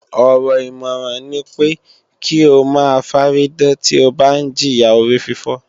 Ọ̀rọ̀ ìmọ̀ràn ní pé kí o máa fárídán tí o ń bá jìya orífífọ́